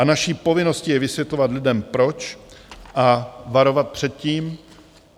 A naší povinností je vysvětlovat lidem proč a varovat před tím.